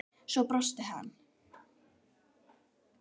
Svo brosti hann.